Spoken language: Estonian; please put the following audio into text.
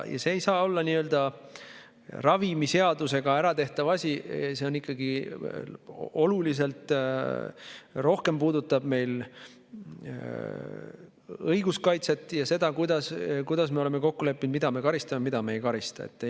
See ei saa olla ravimiseadusega nii-öelda äratehtav asi, see ikkagi oluliselt rohkem puudutab meil õiguskaitset ja seda, kuidas me oleme kokku leppinud, et mille eest me karistame ja mille eest me ei karista.